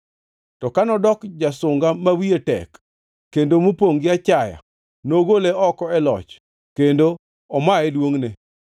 To ka nodoko jasunga ma wiye tek, kendo mopongʼ gi achaya, nogole oko e loch kendo omaye duongʼne.